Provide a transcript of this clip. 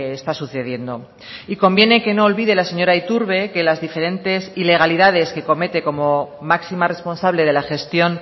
está sucediendo y conviene que no olvide la señora iturbe que las diferentes ilegalidades que comete como máxima responsable de la gestión